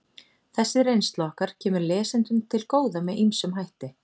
Þessi reynsla okkar kemur lesendum til góða með ýmsum hætti.